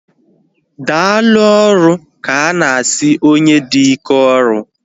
Daalụ ọrụ ka ana asị onye dị ike ọrụ